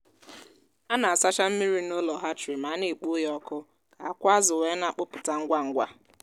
a na-asacha mmiri n’ụlọ hatchery ma na-ekpoo ya ọkụ ka akwa azụ weena-akpụpụta ngwa ngwa